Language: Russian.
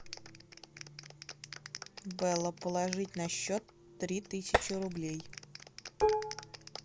белла положить на счет три тысячи рублей